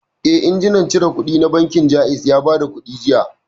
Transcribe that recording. Eh, injimin cire kuɗi na bankin Jaiz ya bada kuɗi jiya